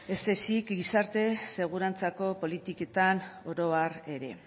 ez ezik gizarte segurantzako politiketan oro har ere